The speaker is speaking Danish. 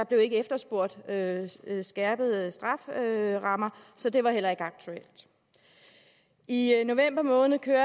blev efterspurgt skærpede skærpede strafferammer så det var heller ikke aktuelt i november måned kørte